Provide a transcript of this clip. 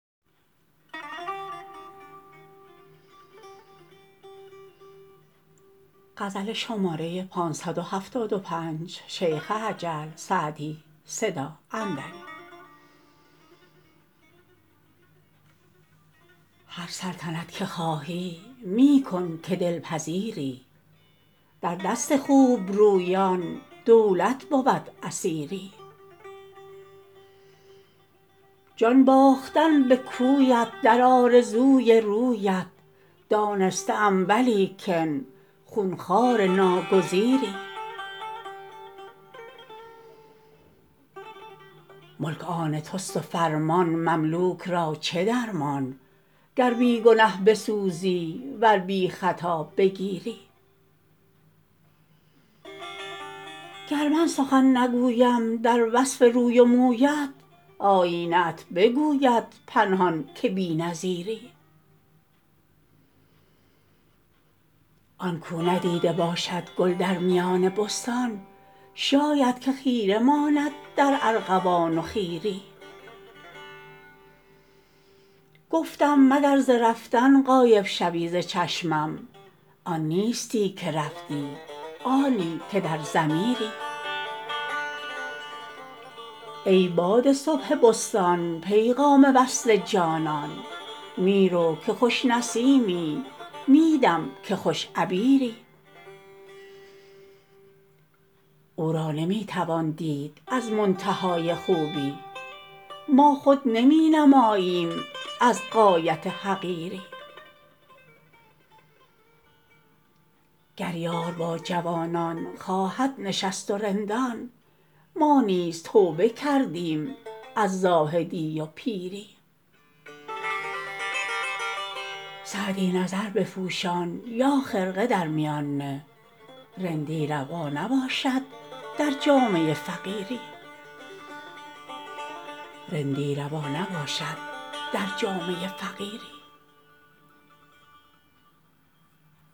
هر سلطنت که خواهی می کن که دل پذیری در دست خوب رویان دولت بود اسیری جان باختن به کویت در آرزوی رویت دانسته ام ولیکن خون خوار ناگزیری ملک آن توست و فرمان مملوک را چه درمان گر بی گنه بسوزی ور بی خطا بگیری گر من سخن نگویم در وصف روی و مویت آیینه ات بگوید پنهان که بی نظیری آن کاو ندیده باشد گل در میان بستان شاید که خیره ماند در ارغوان و خیری گفتم مگر ز رفتن غایب شوی ز چشمم آن نیستی که رفتی آنی که در ضمیری ای باد صبح بستان پیغام وصل جانان می رو که خوش نسیمی می دم که خوش عبیری او را نمی توان دید از منتهای خوبی ما خود نمی نماییم از غایت حقیری گر یار با جوانان خواهد نشست و رندان ما نیز توبه کردیم از زاهدی و پیری سعدی نظر بپوشان یا خرقه در میان نه رندی روا نباشد در جامه فقیری